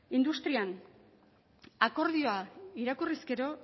industrian akordioa irakurriz gero